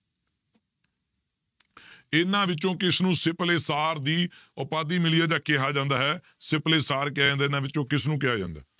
ਇਹਨਾਂ ਵਿੱਚੋਂ ਕਿਸਨੂੰ ਸਿਪਲੇ ਸਾਰ ਦੀ ਉਪਾਧੀ ਮਿਲੀ ਆ ਜਾਂ ਕਿਹਾ ਜਾਂਦਾ ਹੈ, ਸਿਪਲੇ ਸਾਰ ਕਿਹਾ ਜਾਂਦਾ ਇਹਨਾਂ ਵਿੱਚੋਂ ਕਿਸਨੂੰ ਕਿਹਾ ਜਾਂਦਾ?